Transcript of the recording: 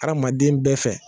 Adamaden bɛɛ fɛ